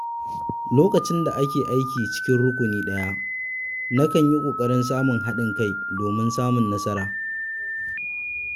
Lokacin da ake aiki a cikin rukuni ɗaya, nakan yi ƙoƙarin samun haɗin kai domin samun nasara.